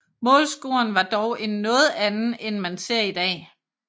Målscoren var dog en noget anden end man ser i dag